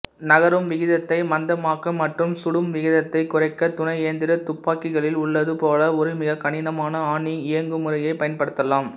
நகரும்விகிதத்தை மந்தமாக்க மற்றும் சுடும்விகிதத்தை குறைக்க துணைஎந்திர துப்பாக்கிகளில் உள்ளது போல ஒரு மிகக் கனமான ஆணி இயங்குமுறையை பயன்படுத்தலாம்